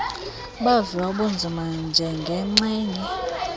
baviwa ubunzima njengenxgenye